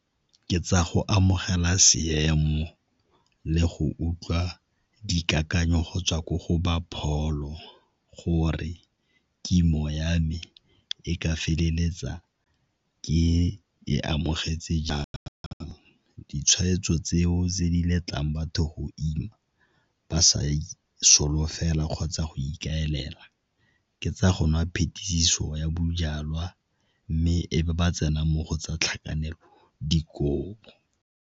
Ke tsa go amogela seemo le go utlwa dikakanyong go tswa ko go ba pholo gore kimo ya me e ka feleletsa ke ye ko amogetse , ditshweetso tseo tse di letlang batho go ima ba sa solofela kgotsa go ikaelela ke tsa go nwa phetiso ya bojalwa mme e be ba tsena mo go tsa tlhakanelo dikobo.